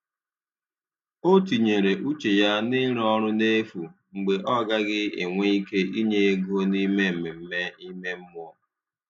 Ọ̀ tìnyere uche ya n’ịrụ ọrụ n’efu mgbe ọ̀ gaghị enwe ike inye ego n’ime mmemme ime mmụọ.